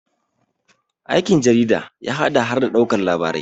aikin jarida ya haɗa har da ɗaukar labarai